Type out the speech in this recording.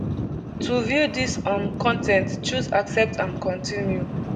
to view dis um con ten t choose accept and continue